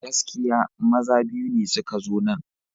Gaskiya! maja biyu ne suka zo nan.